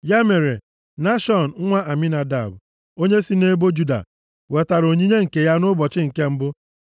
Ya mere, Nashọn nwa Aminadab onye si nʼebo Juda wetara onyinye nke ya nʼụbọchị nke mbụ.